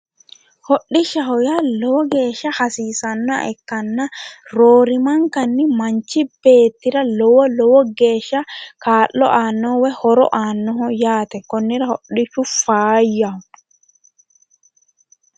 Hodhishshaho yaa lowo geeshshsa hasiisannoha ikkanna roorimankanni manchi beettira lowo lowo geeshsha kaa'lo aanno woyi horo aannoho yaate konnira hodhishshu faayyaho